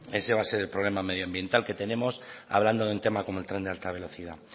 ese va a ser el problema medioambiental que tenemos hablando de un tema como el tren de alta velocidad